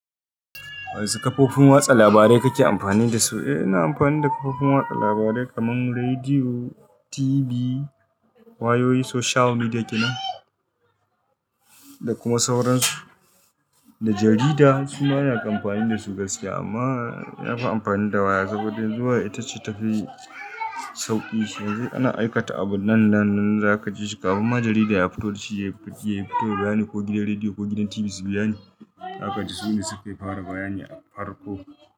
Wasu kafofin watsa labarai kake amfani dasu? Eh, ina amfani da kafofin watsa labarai kaman rediyo, TV, wayoyi, social media kenan, da kuma sauransu, da jarida. Su ma ana kan amfani dasu gaskiya. Amma na fi amfani da waya saboda zuwa ita ce ta fi sauƙi. Sai ana aikata abu nan da nan, nan za ka ji su. Kafin ma jarida ya fito da shi, ya yi fito da bayani ko gidan rediyo ko gidan TV su biya ni. Haka ce, su ne sukafi fara bayani a farko.